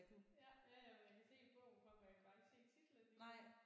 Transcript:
Ja ja men jeg kan se bogen for mig jeg kan bare ikke se titlen lige nu